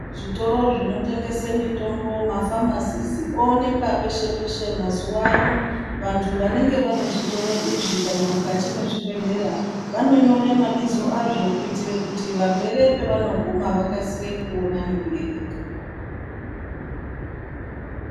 Zvitoro zvinotengese mutombo mafamasisi oonekwa peshe peshe mazuwa ano vantu vanenge Vane zvitoro izvo kana mukati mwezvibhedhlera vanonyorw mabizo azvo kuti varwere pavanoguma vakasire kuona nekuerenga.